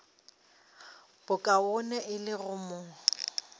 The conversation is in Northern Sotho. bokaone e le go mo